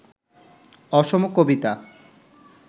অসম কবিতা